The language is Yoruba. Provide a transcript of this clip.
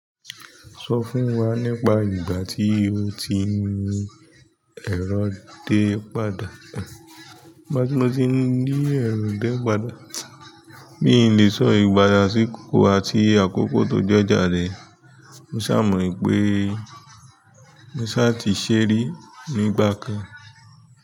Sọ fún wa nípa ìgbà tí o ti ń ní ẹrọ dé padà. Nígbà tí mo ti rí ẹ̀rọ dé padà, mi ò le sọ ìgbà, àsìkò àti àkókò tó jọjá rẹ̀. Mo ṣàmọ̀ wípé mo ṣà ti ṣe ri nígbà kan.